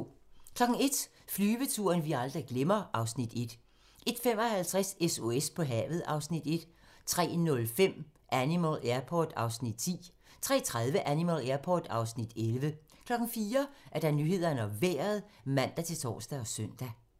01:00: Flyveturen, vi aldrig glemmer (Afs. 1) 01:55: SOS på havet (Afs. 1) 03:05: Animal Airport (Afs. 10) 03:30: Animal Airport (Afs. 11) 04:00: Nyhederne og Vejret (man-tor og søn)